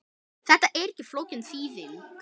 Þetta er ekki flókin þýðing.